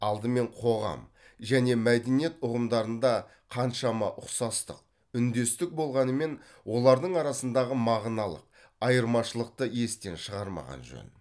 алдымен қоғам және мәдениет ұғымдарында қаншама ұқсастық үндестік болғанымен олардың арасындағы мағыналық айырмашылықты естен шығармаған жөн